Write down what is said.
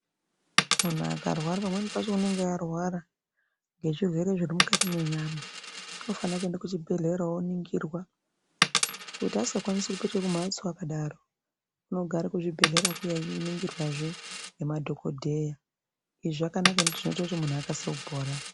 Munhu akarwara pamweni pacho anenge arwara nge zvirwere zviri mukati mwe nyama anofana kuenda ku chibhedhlera oningirwa kuti asinga kwanisi kupetuka ku mhatso akadaro uno gare ku zvibhedhlera kuya eyi ningirwa zvee ne madhokodheya izvi zvakanaka nekuti zvino ita kuti munhu akasikire kupora.